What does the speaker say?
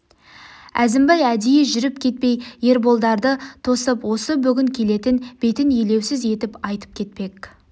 әзімбай әдейі жүріп кетпей ерболдарды тосып осы бүгін кететін бетін елеусіз етіп айтып кетпек